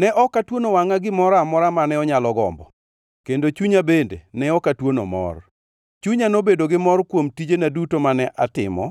Ne ok atuono wangʼa gimoro amora mane onyalo gombo, kendo chunya bende ne ok atuono mor. Chunya nobedo gi mor kuom tijena duto mane atimo,